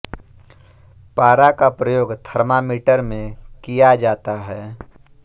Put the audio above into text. पारा का प्रयोग थर्मामीटर में किया जाता है